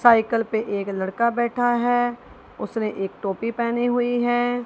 Cycle पे एक लड़का बैठा है उसने एक टोपी पहनी हुई है।